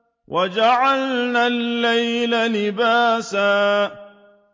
وَجَعَلْنَا اللَّيْلَ لِبَاسًا